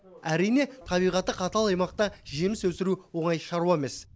әрине табиғаты қатал аймақта жеміс өсіру оңай шаруа емес